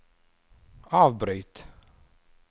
avbryt